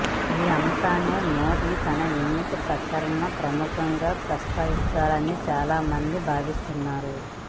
ఈ అంశాన్నే మోదీ తన ఎన్నికల ప్రచారంలో ప్రముఖంగా ప్రస్తావిస్తారని చాలామంది భావిస్తున్నారు